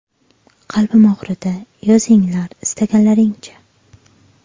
Qalbim og‘ridi... Yozinglar, istaganlaringcha.